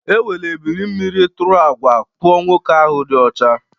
Ewere ebili mmiri tụrụ àgwà kpụọ nwoke ahụ dị ọcha